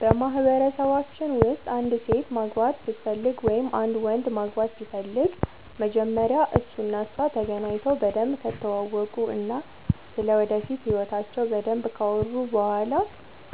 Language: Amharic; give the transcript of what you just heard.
በማህበረሰባችን ውስጥ አንዲት ሴት ማግባት ስትፈልግ ወይም አንድ ወንድ ማግባት ሲፈልግ መጀመሪያ እሱ እና እሷ ተገናኝተው በደንብ ከተዋወቁ እና ስለ ወደፊት ህይወታቸው በደንብ ካወሩ በኋላ